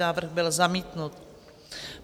Návrh byl zamítnut.